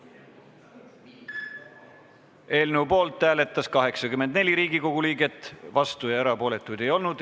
Hääletustulemused Eelnõu poolt hääletas 84 Riigikogu liiget, vastuolijaid ega erapooletuid ei olnud.